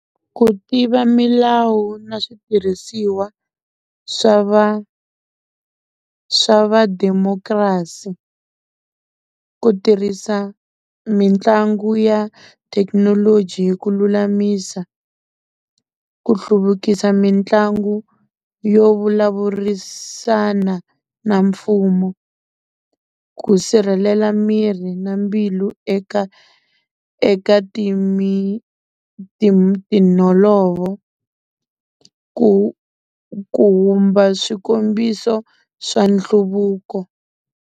Ku tiva milawu na switirhisiwa swa va swa va democracy, ku tirhisa mitlangu ya thekinoloji ku lulamisa, ku hluvukisa mitlangu yo vulavurisana na mfumo, ku sirhelela mirhi na mbilu eka eka timholovo ku ku humba swikombiso swa nhluvuko.